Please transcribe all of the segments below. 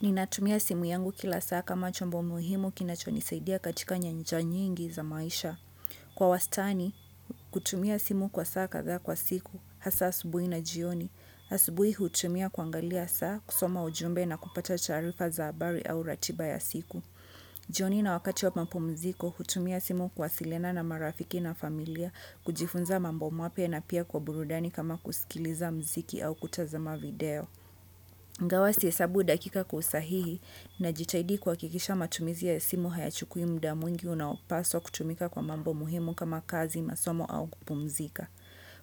Ninatumia simu yangu kila saa kama chombo muhimu kinacho nisaidia katika nyanja nyingi za maisha. Kwa wastani, kutumia simu kwa saa kadhaa kwa siku hasa asubuhi na jioni. Asubuhi hutumia kuangalia saa kusoma ujumbe na kupata taarifa za habari au ratiba ya siku. Jioni na wakati wa mapumziko hutumia simu kuwasiliana na marafiki na familia kujifunza mambo mapya na pia kwa burudani kama kusikiliza mziki au kutazama video. Ingawa sihesabu dakika usahihi na jitahidi kuhakikisha matumizi ya simu hayachukui muda mwingi unaopaswa kutumika kwa mambo muhimu kama kazi masomo au kupumzika.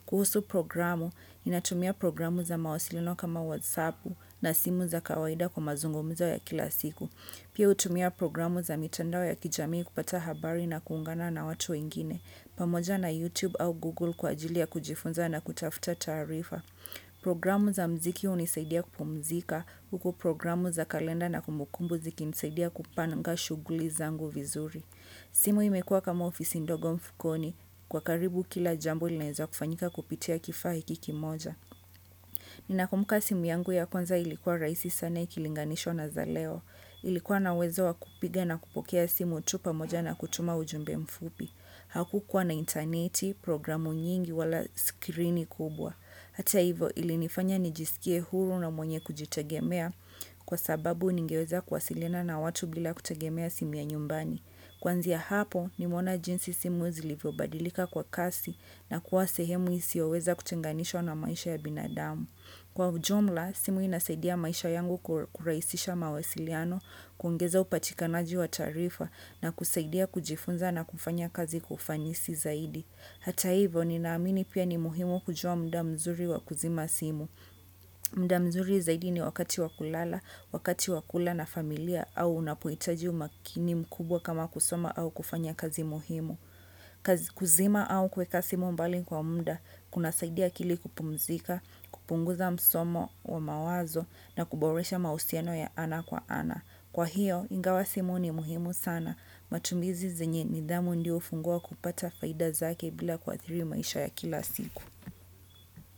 Kuhusu programu inatumia programu za mawasilino kama whatsapp na simu za kawaida kwa mazungumzo ya kila siku. Pia hutumia programu za mitandao ya kijamii kupata habari na kuungana na watu wengine pamoja na YouTube au Google kwa ajili ya kujifunza na kutafuta taarifa. Programu za mziki hunisaidia kupumzika huku programu za kalenda na kumbukumbu ziki nisaidia kupanga shughuli zangu vizuri simu imekuwa kama ofisi ndogo mfukoni kwa karibu kila jambo kinaweza fanyika kupitia kifaa hiki kimoja ninakumbuka simu yangu ya kwanza ilikuwa rahisi sana ikilinganishwa na za leo. Ilikuwa na wezo wa kupige na kupokea simu utupa moja na kutuma ujumbe mfupi. Hakukuwa na interneti, programu nyingi wala skirini kubwa. Hata hivo ilinifanya nijisikie huru na mwenye kujitagemea kwa sababu ningeweza kwasilina na watu bila kutagemea simu ya nyumbani. Kuanzia hapo nimeona jinsi simu zilivyobadilika kwa kasi na kuwa sehemu isiyoweza kutenganishwa na maisha ya binadamu. Kwa ujumla, simu inasaidia maisha yangu kurahisisha mawasiliano, kuongeza upatikanaji wa taarifa na kusaidia kujifunza na kufanya kazi kwa ufanisi zaidi. Hata hivo, ninaamini pia ni muhimu kujua muda mzuri wa kuzima simu. Muda mzuri zaidi ni wakati wa kulala wakati wa kula na familia au unapohitaji umakini mkubwa kama kusoma au kufanya kazi muhimu. Kuzima au kuweka simu mbali kwa muda kuna saidia akili kupumzika, kupunguza msongo wa mawazo na kuboresha mahusiano ya ana kwa ana. Kwa hiyo, ingawa simu ni muhimu sana. Matumizi zenye nidhamu ndiyo hufungua kupata faida zake bila kuathiri maisha ya kila siku.